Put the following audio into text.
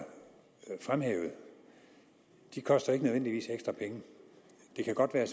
fremhævet koster ikke nødvendigvis ekstra penge det kan godt være at